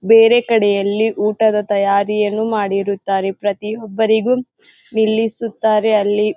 ಬೇರೆ ಕಡೆಯಲ್ಲಿ ಊಟದ ತಯಾರಿಯನ್ನು ಮಾಡಿರುತ್ತಾರೆ. ಪ್ರತಿಯೊಬ್ಬರಿಗೂ ನಿಲ್ಲಿಸುತ್ತಾರೆ ಅಲ್ಲಿ --